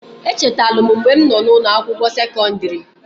Echetalu m mgbe m nọ n'ụnọ akwụkwọ sekọndịrị.